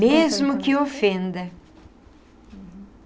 Mesmo que ofenda.